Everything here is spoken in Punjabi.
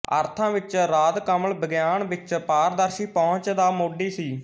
ਅਰਥਾਂ ਵਿਚ ਰਾਧਕਮਲ ਵਿਗਿਆਨ ਵਿਚ ਪਾਰਦਰਸ਼ੀ ਪਹੁੰਚ ਦਾ ਮੋਢੀ ਸੀ